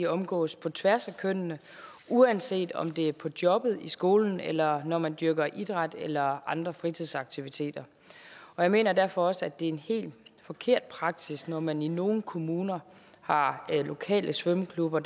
omgås på tværs af kønnene uanset om det er på jobbet i skolen eller når man dyrker idræt eller andre fritidsaktiviteter og jeg mener derfor også at det er en helt forkert praksis når man i nogle kommuner har lokale svømmeklubber